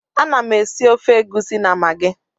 Ana m esi ofe egusi na magi